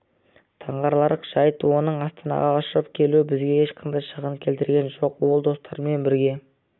таңғаларлық жайт оның астанаға ұшып келуі бізге ешқандай шығын келтірген жоқ ол достарымен бірге